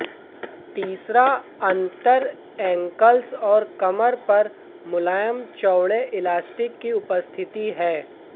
तीसरा अंतर एंकल्स और कमर पर मुलायम चौड़े इलास्टिक की उपस्थिति है